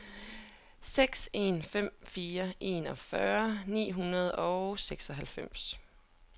seks en fem fire enogfyrre ni hundrede og seksoghalvfems